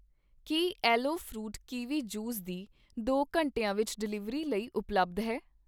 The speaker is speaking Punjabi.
ਕੀ ਐਲਵੋ ਫਰੂਟ ਕੀਵੀ ਜੂਸ ਦੀ ਦੌ ਘੰਟਿਆਂ ਵਿੱਚ ਡਿਲੀਵਰੀ ਲਈ ਉਪਲੱਬਧ ਹੈ?